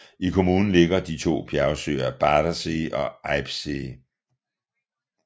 I kommunen ligger de to bjergsøer Badersee og Eibsee